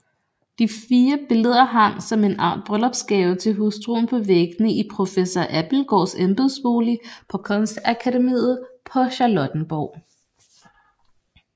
De fire billeder hang som en art bryllupsgave til hustruen på væggene i professor Abildgaards embedsbolig på Kunstakademiet på Charlottenborg